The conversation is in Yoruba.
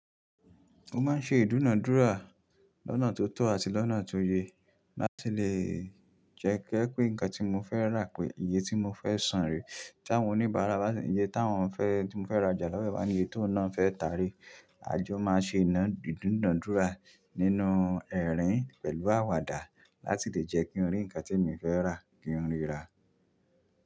Mo máa ń ṣe ìdúnàá dúrà lọ́nà tó tọ́ àti lọ́nà tó yẹ láti lè jẹ́ ko jẹ̀ pé nǹkan tí mo fẹ́ rà pé iye tí mo fẹ́ san re, tí àwọn oníbàárà bá ṣi iye tí a wọ́n fẹ́ tí mo fẹ́ rajà lọ́wọ́ ba ní iye tó nà án fẹ́ e ta re. A jọ máa ṣe ina ìdúnàá dúrà nínú ẹ̀rín pẹ̀lú àwàdà láti lè jẹ́ kí n rí ǹkan tí èmi fẹ́ rà kí n rí rà.